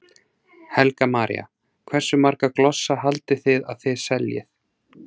Helga María: Hversu marga glossa haldið þið að þið seljið?